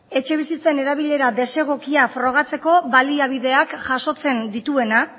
etxebizitzen erabilera desegokia frogatzeko baliabideak jasotzen dituena